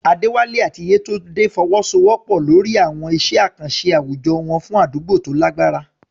Adewale àti Yetunde fọwọ́sowọ́pọ̀ lórí àwọn iṣẹ́ àkànṣe àwùjọ fún àdúgbò tó lágbára.